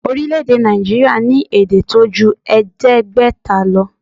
Orílèdè Nàìjíríà ní èdè tó ju èédégbéta lo